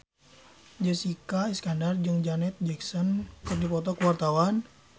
Jessica Iskandar jeung Janet Jackson keur dipoto ku wartawan